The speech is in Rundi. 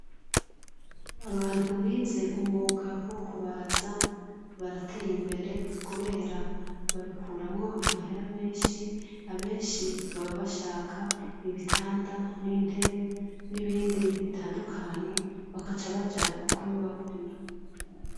Abantu bize umwuga wo kubaza barateye imbere kubera babikuramwo amahera menshi abenshi baba bashaka ibitanda n’intebe nibindi bitandukanye bakaca baja kubibagurira